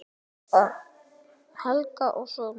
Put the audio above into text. Út af Helga og svona.